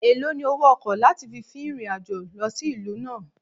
Èlòó ni owó ọkọ̀ láti fi fin ìrìn-àjò lọ sí ìlú náà?